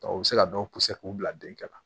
u bɛ se ka dɔw puse k'u bila den kɛ la